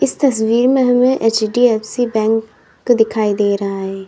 इस तस्वीर हमे एच_डी_एफ_सी बैंक दिखाई दे रहा है।